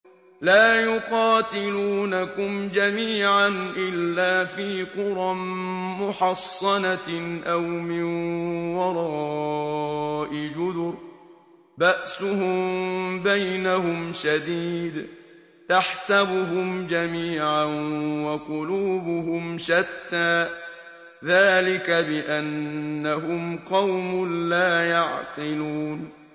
لَا يُقَاتِلُونَكُمْ جَمِيعًا إِلَّا فِي قُرًى مُّحَصَّنَةٍ أَوْ مِن وَرَاءِ جُدُرٍ ۚ بَأْسُهُم بَيْنَهُمْ شَدِيدٌ ۚ تَحْسَبُهُمْ جَمِيعًا وَقُلُوبُهُمْ شَتَّىٰ ۚ ذَٰلِكَ بِأَنَّهُمْ قَوْمٌ لَّا يَعْقِلُونَ